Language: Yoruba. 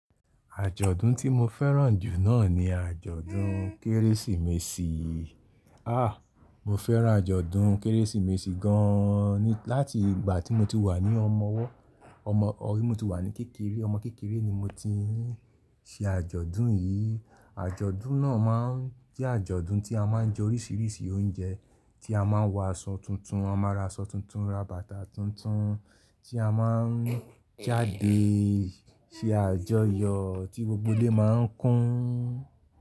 Àjọ̀dún tí mo fẹ́ràn jù náà ni àjọ̀dún Kérésìmesì. Ah! Mo fẹ́ràn àjọ̀dún Kérésìmesì gan ni láti ìgbà tí mo ti wà ní ọmọ ọwọ́, ọmọ tí mo ti wà ní kékeré, ọmọ kékeré ni mo ti ń ṣe àjọ̀dún yìí. Àjọ̀dún náà má ń jẹ́ àjọ̀dún tí a má ń jẹ oríṣiríṣi oúnjẹ, tí a má ń wọ aṣọ tuntun. A máa ra aṣọ tuntun, ra bàtà tuntun tí a má ń jáde ṣe àjọyọ̀ tí gbogbo ilé má ń kún.